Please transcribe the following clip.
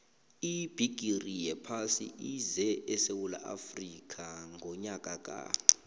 ibhigiri yephasi ize esewula afrika ngonyaka ka